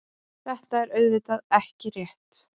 Þetta er auðvitað ekki rétt.